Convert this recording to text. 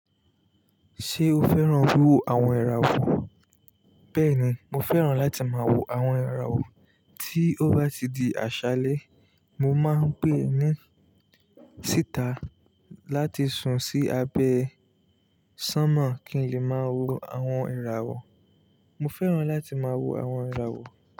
Ṣé o fẹ́ràn wíwo àwọn irawo nko Bẹ́ẹ̀ni, mo fẹ́ràn láti máa wo àwọn irawo. Tí ó bá ti di àṣálẹ́, mo máa ń gbẹ́ eni síta láti sùn sí abẹ́ sánmọ̀ kí n lè máa wo àwọn Mo fẹ́ràn láti máa wo àwọn ẹrọ wò.